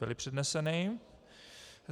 Byly předneseny.